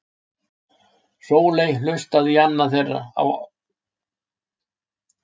Sóley hlustaði í annan þeirra.